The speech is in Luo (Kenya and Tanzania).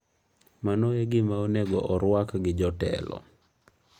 Mano en gima onego orwak gi jotelo.